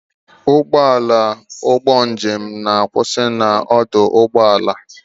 Ụgbọala ụgbọ njem na-akwụsị na ọdụ ụgbọ ala.